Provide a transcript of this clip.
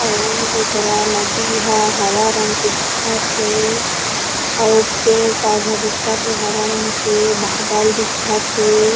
अउर येकरा नदी ह हरा रंग के दिखथे अउ पेड़ - पौधा दिखत हे हरा रंग के बादल दिखत हे।